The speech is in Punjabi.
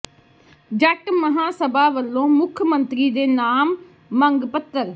ਜੱਟ ਮਹਾਂਸਭਾ ਵੱਲੋਂ ਮੁੱਖ ਮੰਤਰੀ ਦੇ ਨਾਮ ਮੰਗ ਪੱਤਰ